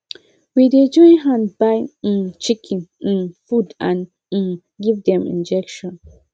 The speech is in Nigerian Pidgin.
we dey join hand buy um chicken um food and um give dem injection